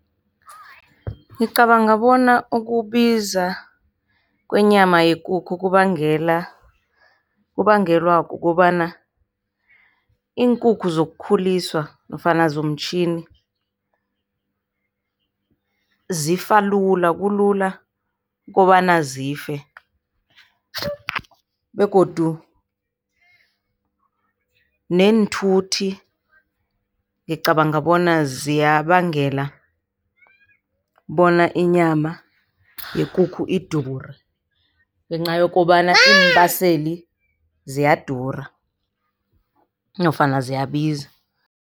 Ngicabanga bona ukubiza kwenyama yekukhu kubangela, kubangelwa kukobana iinkukhu zokukhuliswa nofana zomtjhini zifa lula, kulula kobana zife. Begodu neenthuthi ngicabanga bona ziyabangela bona inyama yekukhu idure ngenca yokobana iimbaseli ziyadura, nofana ziyabiza.